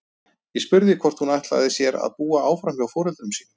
Ég spurði hvort hún ætlaði sér að búa áfram hjá foreldrum sínum.